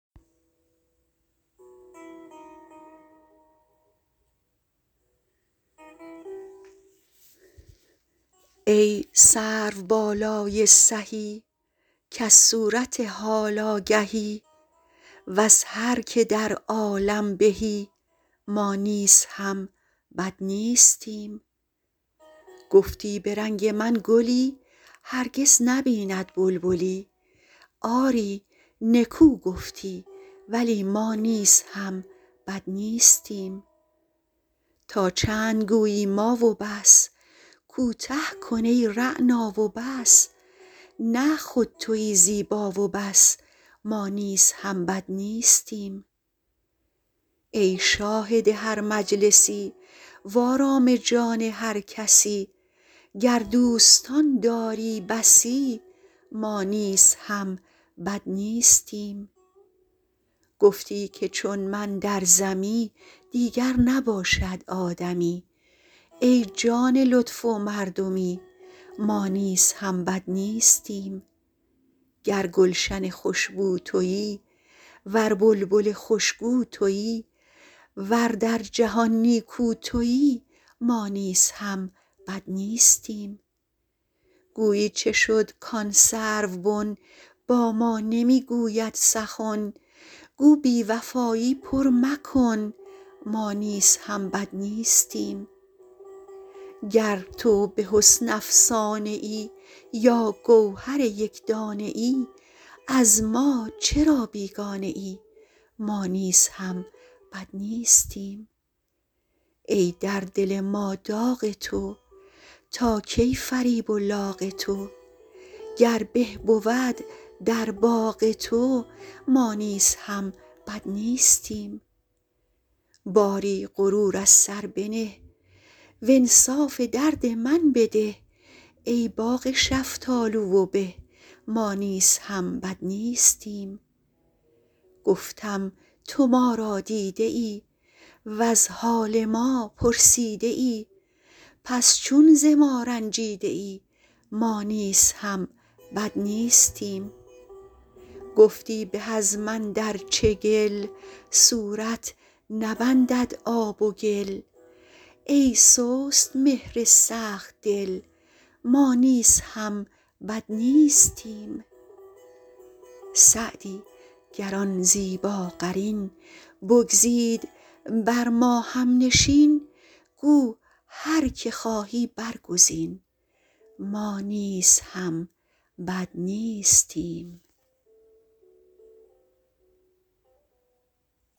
ای سروبالای سهی کز صورت حال آگهی وز هر که در عالم بهی ما نیز هم بد نیستیم گفتی به رنگ من گلی هرگز نبیند بلبلی آری نکو گفتی ولی ما نیز هم بد نیستیم تا چند گویی ما و بس کوته کن ای رعنا و بس نه خود تویی زیبا و بس ما نیز هم بد نیستیم ای شاهد هر مجلسی وآرام جان هر کسی گر دوستان داری بسی ما نیز هم بد نیستیم گفتی که چون من در زمی دیگر نباشد آدمی ای جان لطف و مردمی ما نیز هم بد نیستیم گر گلشن خوش بو تویی ور بلبل خوش گو تویی ور در جهان نیکو تویی ما نیز هم بد نیستیم گویی چه شد کآن سروبن با ما نمی گوید سخن گو بی وفایی پر مکن ما نیز هم بد نیستیم گر تو به حسن افسانه ای یا گوهر یک دانه ای از ما چرا بیگانه ای ما نیز هم بد نیستیم ای در دل ما داغ تو تا کی فریب و لاغ تو گر به بود در باغ تو ما نیز هم بد نیستیم باری غرور از سر بنه وانصاف درد من بده ای باغ شفتالو و به ما نیز هم بد نیستیم گفتم تو ما را دیده ای وز حال ما پرسیده ای پس چون ز ما رنجیده ای ما نیز هم بد نیستیم گفتی به از من در چگل صورت نبندد آب و گل ای سست مهر سخت دل ما نیز هم بد نیستیم سعدی گر آن زیباقرین بگزید بر ما هم نشین گو هر که خواهی برگزین ما نیز هم بد نیستیم